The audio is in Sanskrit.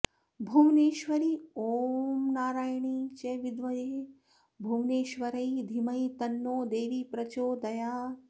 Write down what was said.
भुवनेश्वरी ॐ नारायण्यै च विद्महे भुवनेश्वर्यै धीमहि तन्नो देवी प्रचोदयात्